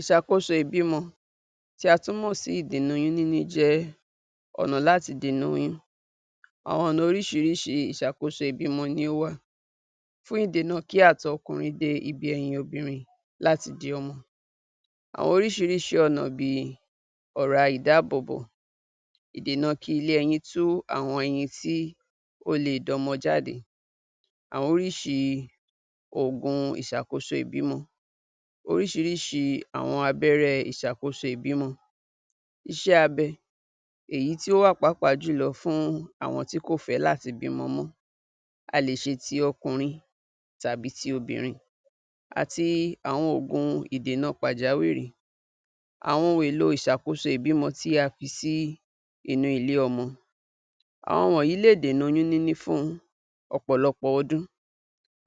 ìṣàkóso ìbímọ tí a tún mọ̀ sí ìdènà oyún níní jẹ́ ọ̀nà láti dènà oyún àwọn ọ̀nà oríṣiríṣi ìṣàkóso ìbímọ ni ó wà fún ìdènà kí àtọ̀ ọkùnrin dé ibi ẹyin obìnrin láti di ọmọ àwọn oríṣiríṣi ọ̀nà bíi ọ̀ra ìdáàbòbò ìdènà kí ilé ẹyin tú àwọn ẹyin tí ó le d'ọmọ jáde àwọn oríṣii ògùn ìṣàkóso ìbímọ oríṣiríṣi àwọn abẹ́rẹ́ ìṣàkóso ìbímọ iṣẹ́ abẹ èyí tí ó wà pàápàá jùlọ fún àwọn tí kò fé láti bímọ mọ́ a lè ṣe tí ọkùnrin tàbí ti obìnrin àti àwọn ògùn ìdèna pàjáwìrì àwọn ohun èlò ìṣàkóso ìbímọ tí a fi sí inú ilé ọmọ àwọn wọnyìí lè dènà oyún níní fún ọ̀pọ̀lọpọ̀ ọdún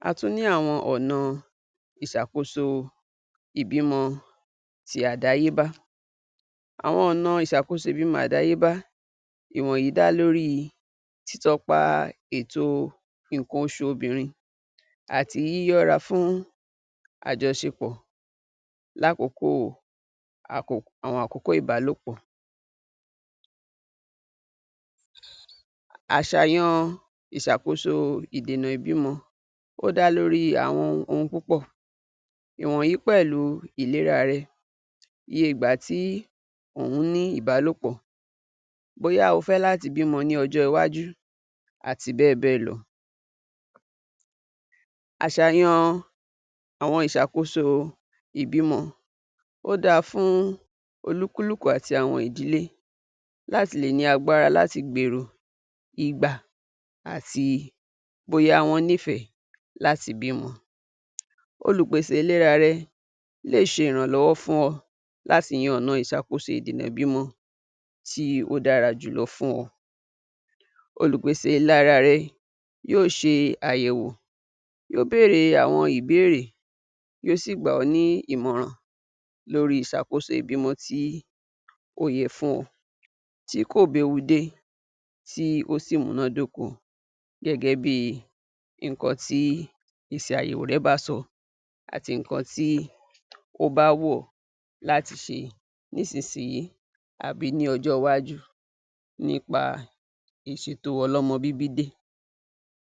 a tún ní àwọn ọ̀na ìsàkóso ìbímọ ti àdáyébá àwọn ọ̀nà ìṣàkóso ìbímọ àdáyébá ìwọnyí dá lórí títọpa ètò nǹkan oṣù obìnrin àti yíyọra fún àjọṣepọ̀ lákókò àwọn àkókò ìbálòpọ̀ àṣàyan ìṣàkóso ìdènà ìbímọ ó dá lórí àwọn ohun púpọ̀ ìwọ̀nyìí pẹ̀lú ìlera rẹ iye ìgbà tí òún ní ìbálòpọ̀ bóyá o fẹ́ láti bímọ ní ọ́jọ́ iwájú àti bẹ́ẹ̀bẹ́ẹ̀ lọ àṣàyan àwọn ìṣàkóso ìbímọ ó dáa fún olúkúlùkú àti àwọn ìdílé láti lè ní agbára láti gbèrò ìgbà àti bóyá wọ́n nìfẹ́ láti bímọ olùpèsè ìlera rẹ lè ṣe ìrànlọ́wọ́ fún ọ lá ti yan ọ̀nà ìṣàkóso ìdènà ìbímọ tí ó dára jùlọ fún ọ olùpèsè ìlara rẹ yóò ṣe àyèwò yóò béèrè àwọn ìbéèrè yóó sì gbà ọ́ ní ìmọ̀ràn lórí ìṣàkóso ìbímọ tí ó yẹ fún ọ tí kò béwu dé tí ó sì múná dóko gẹ́gẹ́ bíi nǹkan ti ìsàyẹ̀wò rẹ bá sọ àti nǹkan tí ó bá wù ọ́ láti ṣe nísinsìyí àbí ní ọjọ́ iwájú nípa ìṣètò ọlọ́mọbíbí dé